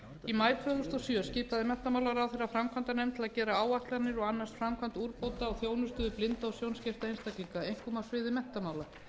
í maí tvö þúsund og sjö skipaði menntamálaráðherra framkvæmdanefnd til að gera áætlanir og annast framkvæmd úrbóta á þjónustu við blinda og sjónskerta einstaklinga einkum á sviði menntamála